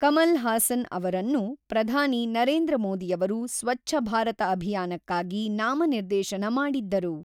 ಕಮಲ್ ಹಾಸನ್ ಅವರನ್ನು ಪ್ರಧಾನಿ ನರೇಂದ್ರ ಮೋದಿಯವರು ಸ್ವಚ್ಛ ಭಾರತ ಅಭಿಯಾನಕ್ಕಾಗಿ ನಾಮನಿರ್ದೇಶನ ಮಾಡಿದ್ದರು.